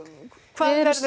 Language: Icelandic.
hvað verður